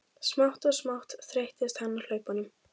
Smátt og smátt þreyttist hann á hlaupunum.